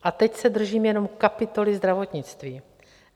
A teď se držím jenom kapitoly zdravotnictví.